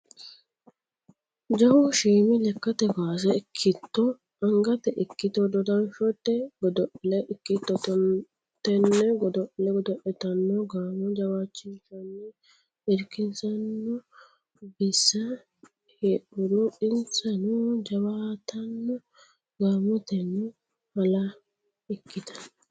Jawu shiimi lekkate kawaase ikkitto angatta ikkitto dodashote godo'le ikkitto tene godo'le godo'littano gaamo jawaachishanni irkisano bissa heedhuro insano jawaattano gaamoteno hale ikkittano.